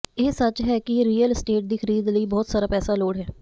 ਇਹ ਸੱਚ ਹੈ ਕਿ ਰੀਅਲ ਅਸਟੇਟ ਦੀ ਖਰੀਦ ਲਈ ਬਹੁਤ ਸਾਰਾ ਪੈਸਾ ਲੋੜ ਹੈ